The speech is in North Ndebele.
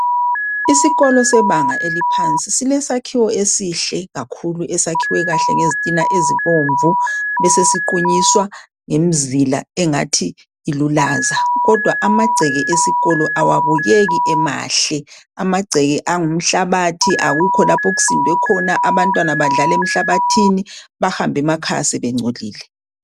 Isikolo sebanga eliphansi, silesakhiwo esihle kakhulu. Esakhiwe kahle ngezitina ezibomvu. Besesiqunyiswa ngemzila engathi ilulaza. Kidwa amagceke esikolo, kawabukeki emahle. Amagceke angumhlabathi. Akukho lapho okusindwe khona. Abantwana badlala emhlabathini. Bahambe emakhaya sebengcolile.